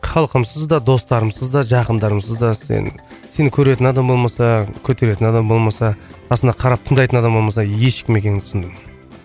халқымсыз да достарымсыздар да жақындарымсыздар да сен сені көретін адам болмаса көтеретін адам болмаса басына қарап тыңдайтын адам болмаса ешкім екенімді түсіндім